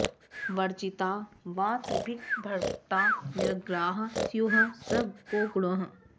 वर्जिता वा त्रिभिर्भक्ता निरग्राः स्युः स को गुणः